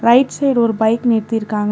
Right side ஒரு bike நிறுத்திருக்காங்க.